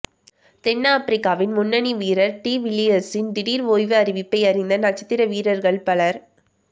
தென் ஆப்பிரிக்காவின் முன்னணி வீரர் டிவில்லியர்ஸின் திடீர் ஓய்வு அறிவிப்பை அறிந்த நட்சத்திர வீரர்கள் பலர்